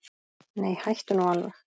Nei, hættu nú alveg!